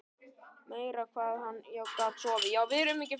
Meira hvað hann gat sofið!